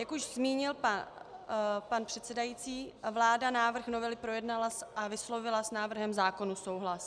Jak už zmínil pan předsedající, vláda návrh novely projednala a vyslovila s návrhem zákona souhlas.